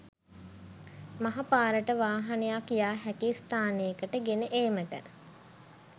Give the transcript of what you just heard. මහ පාරට වාහනයක්‌ යා හැකි ස්‌ථානයකට ගෙන ඒමට